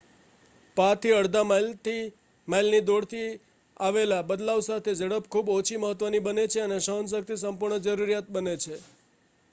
પા થી અડધા માઈલની દોડથી આવેલ બદલાવ સાથે ઝડપ ખૂબ ઓછી મહત્વની બને છે અને સહન શક્તિ સંપૂર્ણ જરૂરીયાત બને છે